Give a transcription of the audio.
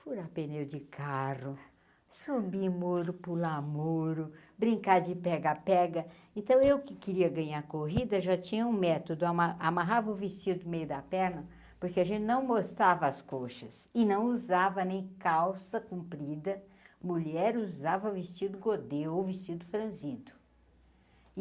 Furar pneu de carro, subir em muro, pular a muro, brincar de pega-pega, então eu que queria ganhar corrida já tinha um método, amarra amarrava o vestido do meio da perna, porque a gente não mostava as coxas e não usava nem calça cumprida, mulher usava vestido Godê ou vestido Frazido.